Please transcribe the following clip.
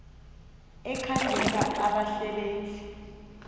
ekhangela abasebe nzi